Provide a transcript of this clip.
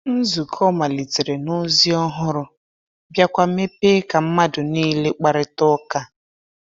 Nzukọ malitere na ozi ọhụrụ, biakwa mepee ka mmadụ niile kparịta ụka.